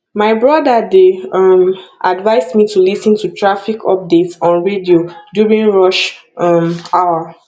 my brother dey um advise me to lis ten to traffic updates on radio during rush um hour